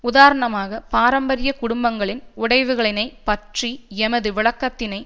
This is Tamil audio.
உதாரணமாக பாரம்பரிய குடும்பங்களின் உடைவுகளினை பற்றிய எமது விளக்கத்தினை